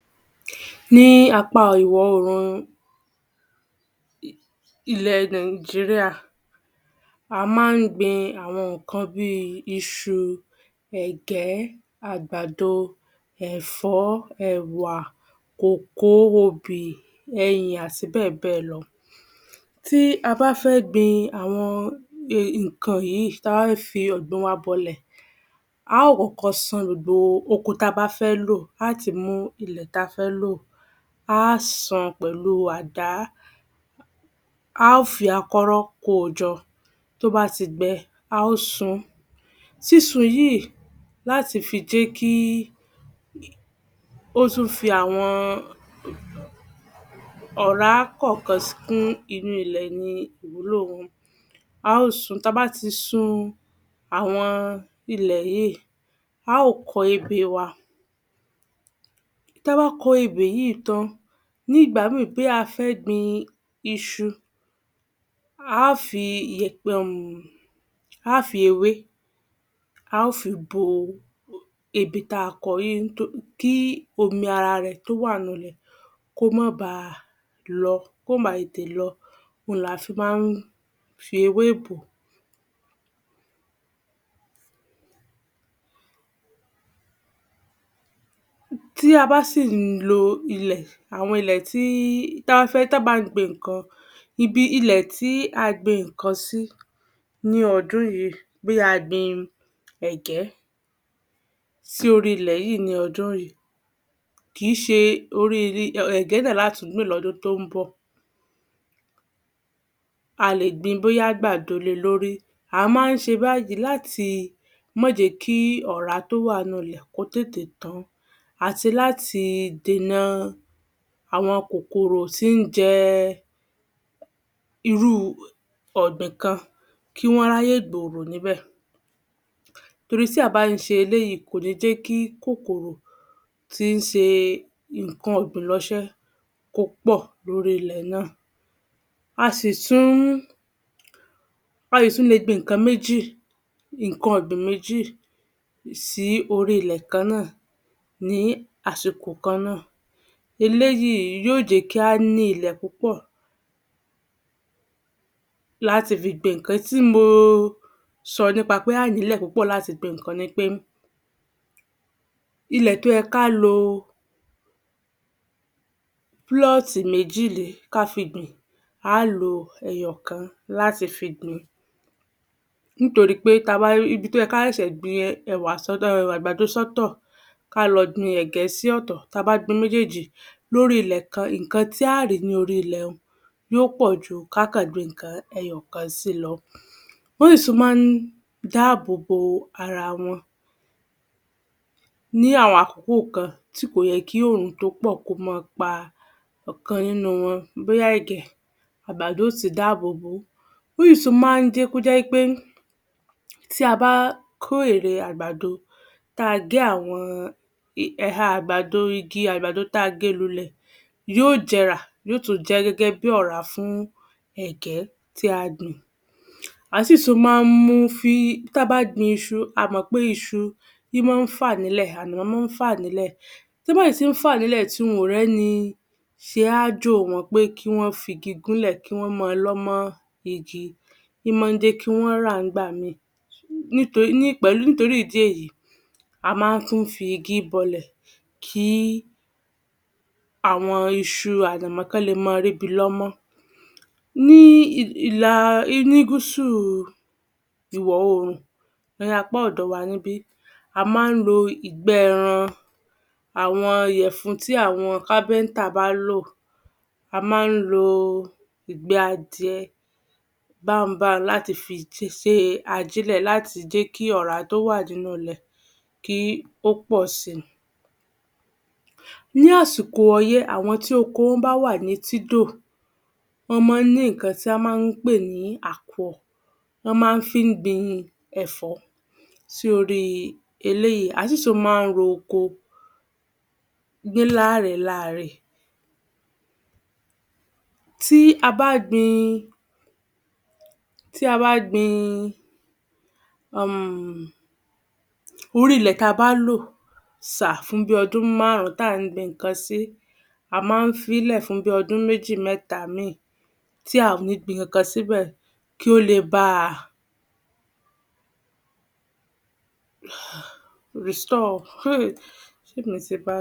Ní apá ìwọ-orùn ilẹ̀ Nàìjíríà, a máa ń gbin àwọn nǹkan bí i iṣu, ẹ̀gẹ́, àgbàdo, ẹ̀fọ́, ẹ̀wà, kòkó, obì, ẹyìn, àti bẹ́ẹ̀bẹ́ẹ̀ lọ. Tí a bá fẹ́ gbin àwọn nǹkan yìí, ta bá fẹ́ fi ọ̀gbìn wa bọlẹ̀, a ó kọ́kọ́ sán gbogbo oko tabá fẹ́ lò, á ti mú ilẹ̀ ta fẹ́ lò, a sán pẹ̀lú àdá, a fí akọ́rọ́ kojọ tó bá ti gbẹ, a ó sun. Sísun yìí láti fi jẹ́kí ó tún fi àwọn ọ̀rá kọ̀ọ̀kan kún ilẹ̀ ni ìwúlò wọn. A ó sun. Ta bá ti sun àwọn ilẹ̀ yìí, a ó kọ ebè wa. Ta bá kọ ebè yìí tan, ní ìgbà mìí bóyá a fẹ́ gbin iṣu, á fi iyẹ̀pẹ̀ um á fi ewé, a ó fi bo ebè tákọ yìí kí omi ara rẹ̀ tó wà nínú ilẹ̀ kó má ba lọ, kó má ba tètè lọ, òhun la fí máa ń fi ewé bòó. Tí a bá sì ń lo ilẹ̀, àwọn ilẹ̀ tí, ta fẹ́, ta bá ń gbin nǹkan, ibi ilẹ̀ tí a gbin nǹkan sí ní ọdún yìí, bóyá a gbin ẹ̀gẹ́ sí orí ilẹ̀ yìí ní ọdún yìí, kìí ṣe orí, ẹ̀gẹ́ náà lá tún gbìn lọ́dún tó ń bọ̀. A lè gbin bóyá àgbàdo le lórí. A máa ń ṣe báyìí láti má jẹ́kí ọ̀rá tó wà nínú ilẹ̀ kó tètè tán. Àti láti dènà àwọn kòkòrò tí ń jẹ irú ọ̀gbìn kan kí wọ́n ráyè gbòòrò níbẹ̀ torí tí a bá ń ṣe eléyìí, kò ní jẹ́kí kòkòrò tí ń ṣe nǹkan ọ̀gbìn ránṣẹ́ kó pọ̀ lórí ilẹ̀ náà. A sì tún-ún, a sì tún le gbin nǹkan méjì, nǹkan ọ̀gbìn méjì sí orí ilẹ̀ kan-án-nà ní àsìkò kan-án-nà. Eléyìí yóò jẹ́ kí á ní ilẹ̀ púpọ̀ láti fi gbin nǹkan tí mo sọ nípa pé a á ní ilẹ̀ púpọ̀ láti gbin nǹkan ni pé, ilẹ̀ tó yẹ ká lo [plot] méjì lé, ká fi gbìn, a á lo ẹyọ̀kan láti fi gbin nítorí pé ta bá, ibi tó yẹ ká ṣe gbin ẹwà, àgbàdo sọ́tọ̀, ká lọ gbin ẹ̀gẹ́ sí ọ̀tọ̀, ta bá gbin méjéèjì lórí ilẹ̀ kan, nǹkan tí á rìí ní orí ilẹ̀ un, yóò pọ̀ju ká kàn gbin nǹkan ẹyọ̀kan sí lọ. Wọ́n sì tún máa ń dá àbòbo ara wọn ní àwọn àkókò kan tí kò yẹ kí òrùn tó pọ̀ kó máa pa ọkàn nínú wọn bóyá ẹ̀gẹ́, àgbàdo yóò sì dá àbòbo. Wọ́n sì tún máa ń jẹ́ kó jẹ́ wí pé tí a bá kó èrè àgbàdo, ta gé àwọn ẹ̀ha àgbàdo, igi àgbàdo tá a gbìn lulẹ̀, yóò jẹrà, yóò tún jẹ́ gẹ́gẹ́ bí ọ̀rá fún ẹ̀gẹ́ tí a gbìn. A á sì tún máa ń mú fí, ta bá gbin iṣu, a mọ̀ pé iṣu í máa ń fà nílẹ̀, wọ́n máa ń fà nílẹ̀, tán bá sì tí ń fà nílẹ̀, tí wọ́n ò rẹ́ni ṣé aájò wọn pé kí wọ́n fi igi gúnlẹ̀ kí wọ́n máa lọ́ mọ́ igi, í máa ń jẹ́kí wọ́n rà ń gbà mí níto, pẹ̀lú nítorí ìdí èyí, a máa n tún fi igi bọlẹ̀ kí àwọn iṣu àti kán le máa ri ibi lọ́mọ́. Ní ilà, ní gúúsù ìwọ-orùn, ní apá ọ̀dọ̀ wa níbí, a máa ń lo ìgbẹ́ ẹran, àwọn iyẹ̀fun tí àwọn [carpenter] bá lò, a máa ń lo ìgbẹ́ adìẹ bànbà láti fi ṣe ajélẹ̀ láti jẹ́kí ọ̀rá tó wà nínú ilẹ̀ kí ó pọ̀ si. Ní àsìkò ọyẹ́, àwọn tí oko wọn bá wà ní etídò, wọ́n máa ń ní ìkan tí wọ́n máa ń pè ní àkùọ̀, wọ́n máa ń fi gbin ẹ̀fọ́ sí orí eléyìí. Á sì tún máa ń ro oko dé làrẹ̀ làrẹ̀. Tí a bá gbin, tí a bá gbin um orí ilẹ̀ tí a bá lò sà fún bí i ọdún márùn-ún tá ń gbin nǹkan sí, a máa ń fílẹ̀ fún bí i ọdún méjì mẹta mi tí a ò ní gbin ǹkankan síbẹ̀ kí ó le bá a [restore] ṣé mi ti ba